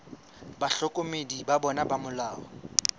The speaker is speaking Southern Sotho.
bahlokomedi ba bona ba molao